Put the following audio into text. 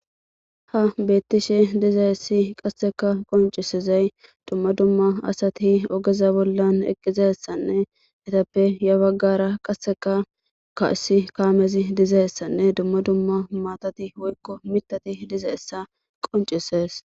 Ha beettishe dizaessi qasseka qoncisizey dumma dumma asati ogeza bollan eqqizaessanne etappe ya baggara qasseka kaussi kaamezi dizayessanne dumma dumma maatati woykko mitati diza essa qoncisees.